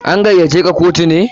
An gaiya ce ka kotu ne?